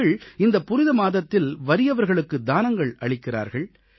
மக்கள் இந்தப் புனித மாதத்தில் வறியவர்களுக்கு தானங்கள் அளிக்கிறார்கள்